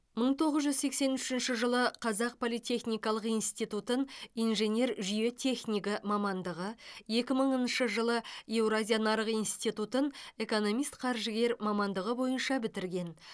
мың тоғыз жүз сексен үшінші жылы қазақ политехникалық институтын инженер жүйе технигі мамандығы екі мыңыншы жылы еуразия нарық институтын экономист қаржыгер мамандығы бойынша бітірген